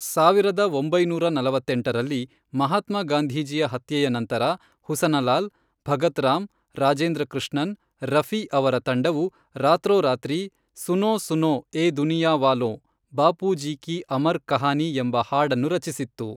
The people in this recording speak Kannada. ಸಾವಿರದ ಒಂಬೈನೂರ ನಲವತ್ತೆಂಟರಲ್ಲಿ, ಮಹಾತ್ಮ ಗಾಂಧೀಜಿಯ ಹತ್ಯೆಯ ನಂತರ ಹುಸನಲಾಲ್ ಭಗತ್ ರಾಮ್ ರಾಜೇಂದ್ರ ಕೃಷ್ಣನ್ ರಫಿ ಅವರ ತಂಡವು ರಾತ್ರೋರಾತ್ರಿ, ಸುನೋ ಸುನೋ ಏ ದುನಿಯಾವಾಲೋಂ, ಬಾಪೂಜಿ ಕೀ ಅಮರ್ ಕಹಾನಿ ಎಂಬ ಹಾಡನ್ನು ರಚಿಸಿತ್ತು.